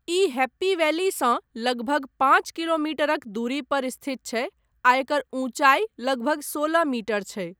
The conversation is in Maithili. ई हैप्पी वैलीसँ लगभग पाँच किलोमीटरक दूरी पर स्थित छै आ एकर ऊंचाइ लगभग सोलह मीटर छै।